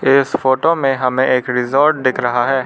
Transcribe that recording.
इस फोटो में हमें एक रिसॉर्ट दिख रहा है।